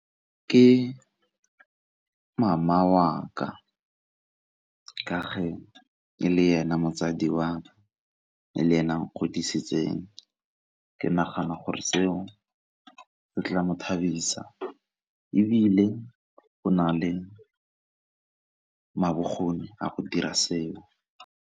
Ke mama wa ka fa e le ena motsadi e le ena a nkgodisitseng, ke nagana gore seo se tla mo thadisa ebile go na le bokgoni a go dira seo.